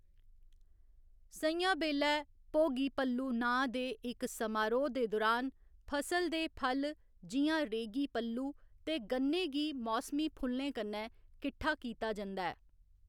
स'ञां बेल्लै भोगी पल्लू नांऽ दे इक समारोह्‌‌ दे दुरान, फसल दे फल जि'यां रेगी पल्लू ते गन्ने गी मौसमी फुल्लें कन्नै किट्ठा कीता जंदा ऐ।